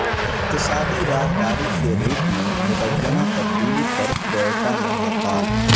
اقتصادی راہداری کے روٹ میں مبینہ تبدیلی پر کوئٹہ میں ہڑتال